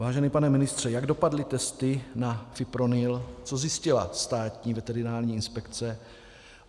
Vážený pane ministře, jak dopadly testy na fipronil, co zjistila Státní veterinární inspekce?